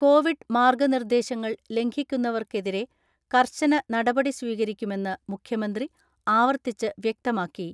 Covid മാർഗനിർദ്ദേശങ്ങൾ ലംഘിക്കുന്നവർക്കെതിരെ കർശന നടപടി സ്വീകരിക്കുമെന്ന് മുഖ്യമന്ത്രി ആവർത്തിച്ച് വ്യക്തമാക്കി.